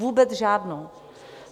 Vůbec žádnou!